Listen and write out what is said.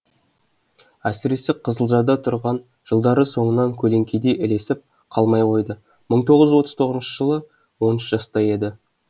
әсіресе қызылжарда тұрған жылдары соңынан көлеңкедей ілесіп қалмай қойды бір мың тоғыз жүз отыз тоғызыншы жылы он үш жаста еді